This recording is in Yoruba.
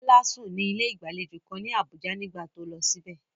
Bola sùn ní ilé ìgbàlejò kan ní Abuja nígbà tó lọ síbẹ̀.